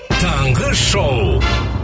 таңғы шоу